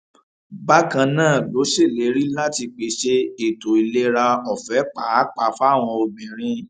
bákan náà ló ṣèlérí láti pèsè ètò ìlera ọfẹ pàápàá fáwọn obìnrin